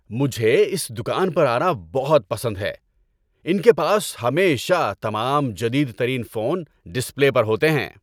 مجھے اس دکان پر آنا بہت پسند ہے۔ ان کے پاس ہمیشہ تمام جدید ترین فون ڈسپلے پر ہوتے ہیں۔